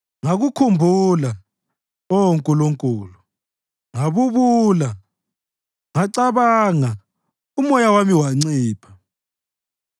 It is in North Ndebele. Ngakukhumbula, Oh Nkulunkulu, ngabubula; ngacabanga, umoya wami wancipha.